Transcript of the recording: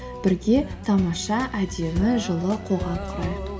бірге тамаша әдемі жылы қоғам құрайық